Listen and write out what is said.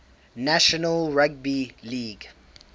national rugby league